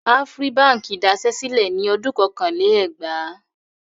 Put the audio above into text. Afri Báńkì daṣẹ́ sílẹ̀ ní ọdún kọkànlá-lé-ẹgbàá.